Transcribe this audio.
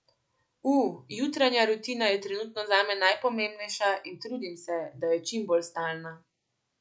U, jutranja rutina je trenutno zame najpomembnejša in trudim se, da je čim bolj stalna.